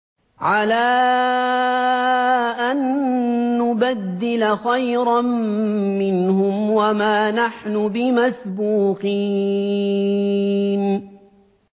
عَلَىٰ أَن نُّبَدِّلَ خَيْرًا مِّنْهُمْ وَمَا نَحْنُ بِمَسْبُوقِينَ